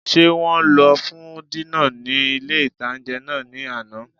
Ṣé wọn lọ fún dínà ní ilé-ìtánjẹ náà ní àná?